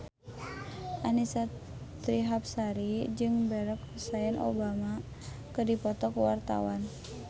Annisa Trihapsari jeung Barack Hussein Obama keur dipoto ku wartawan